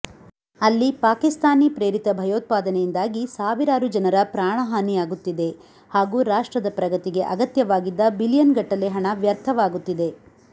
ಅಲ್ಲಿ ಪಾಕಿಸ್ತಾನೀ ಪ್ರೇರಿತ ಭಯೊತ್ಪಾದನೆಯಿಂದಾಗಿ ಸಾವಿರಾರು ಜನರ ಪ್ರಾಣಹಾನಿಯಾಗುತ್ತಿದೆ ಹಾಗೂ ರಾಷ್ಟ್ರದ ಪ್ರಗತಿಗೆ ಅಗತ್ಯವಾಗಿದ್ದ ಬಿಲಿಯನ್ಗಟ್ಟಲೆ ಹಣ ವ್ಯರ್ಥವಾಗುತ್ತಿದೆ